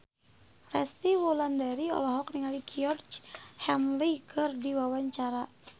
Resty Wulandari olohok ningali Georgie Henley keur diwawancara